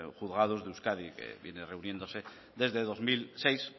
juzgados de euskadi vienen reuniéndose desde el dos mil seis